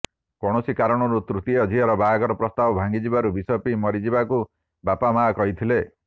କୌଣସି କାରଣରୁ ତୃତୀୟ ଝିଅର ବାହାଘର ପ୍ରସ୍ତାବ ଭାଙ୍ଗିଯିବାରୁ ବିଷ ପିଇ ମରିଯିବାକୁ ବାପା ମାଆ କହିଥିଲେ